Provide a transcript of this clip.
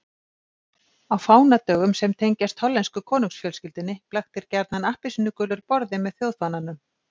Á fánadögum sem tengjast hollensku konungsfjölskyldunni blaktir gjarnan appelsínugulur borði með þjóðfánanum.